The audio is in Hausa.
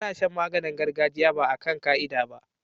Ana Shan maganin gargajiya ba akan ka'ida ba